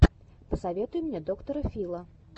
посоветуй мне доктора фила